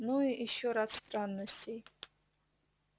ну и ещё рад странностей